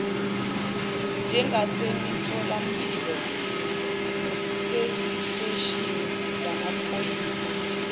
njengasemitholampilo naseziteshini zamaphoyisa